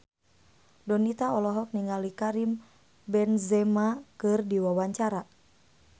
Donita olohok ningali Karim Benzema keur diwawancara